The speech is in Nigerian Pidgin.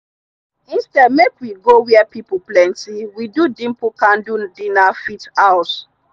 instead make we go where pple plenty we do dimple candle dinner fit house.